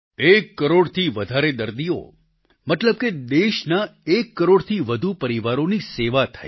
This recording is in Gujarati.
એક કરોડથી વધારે દર્દીઓ મતલબ કે દેશના એક કરોડથી વધુ પરિવારોની સેવા થઈ